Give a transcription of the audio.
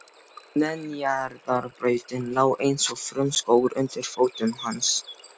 Neðanjarðarbrautin lá eins og frumskógur undir fótum hans.